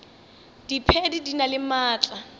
diphedi di na le maatla